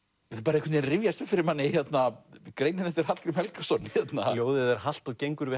einhvern veginn rifjast upp fyrir manni greinin eftir Hallgrím Helgason ljóðið er halt og gengur við